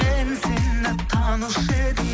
мен сені танушы едім